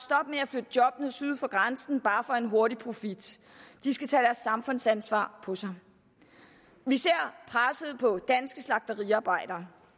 med at flytte jobbene syd for grænsen bare for en hurtig profit de skal tage deres samfundsansvar på sig vi ser presset på danske slagteriarbejdere